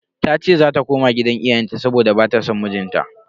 Tace zata koma gidan iyayenta saboda bata son mijinta.